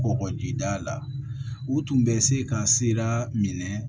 Kɔkɔjida la u tun bɛ se ka sira minɛ